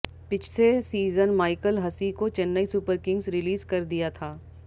पिछसे season Michael Hussey को Chennai Super Kings release कर दिया था